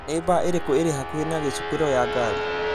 Nĩ baa irĩkũ irĩ hakuhĩ na gĩcukĩro ya ngari